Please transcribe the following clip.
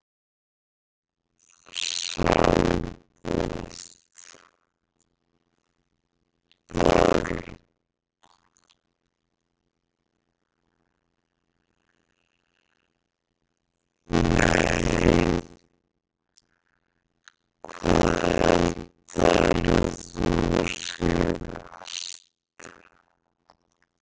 Sambúð Börn: Nei Hvað eldaðir þú síðast?